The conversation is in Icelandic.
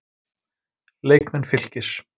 Leikmenn Fylkis